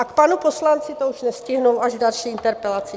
A k panu poslanci už to nestihnu, až v další interpelaci.